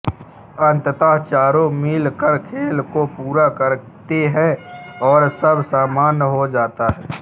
अंततः चारो मिल कर खेल को पूरा करते है और सब सामान्य हो जाता है